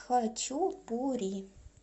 хочу пури